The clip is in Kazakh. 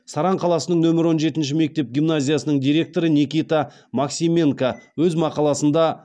саран қаласының нөмір он жетінші мектеп гимназиясының директоры никита максименко өз мақаласында